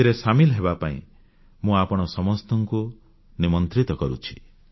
ଏଥିରେ ସାମିଲ ହେବାପାଇଁ ମୁଁ ଆପଣ ସମସ୍ତଙ୍କୁ ନିମନ୍ତ୍ରିତ କରୁଛି